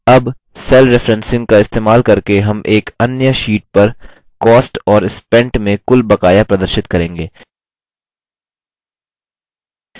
अब cell referencing का इस्तेमाल करके हम एक अन्य sheet पर cost और spent में कुल बकाया प्रदर्शित करेंगे